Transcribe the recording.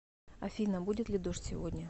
афина будет ли дождь сегодня